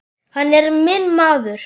Hann er minn maður.